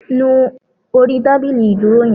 Nu orí tábìlì ìdúró yan